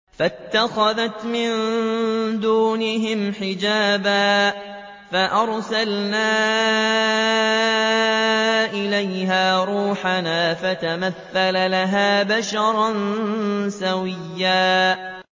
فَاتَّخَذَتْ مِن دُونِهِمْ حِجَابًا فَأَرْسَلْنَا إِلَيْهَا رُوحَنَا فَتَمَثَّلَ لَهَا بَشَرًا سَوِيًّا